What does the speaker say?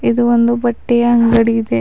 ಇದು ಒಂದು ಬಟ್ಟೆಯ ಅಂಗಡಿ ಇದೆ.